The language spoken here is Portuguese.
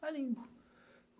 Carimbo.